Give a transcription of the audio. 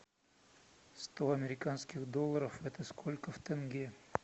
сто американских долларов это сколько в тенге